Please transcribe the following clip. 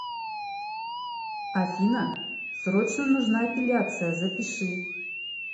афина срочно нужна эпиляция запиши